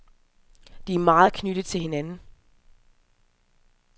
De er meget knyttede til hinanden.